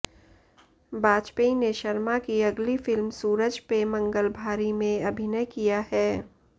बाजपेयी ने शर्मा की अगली फिल्म सूरज पे मंगल भारी में अभिनय किया है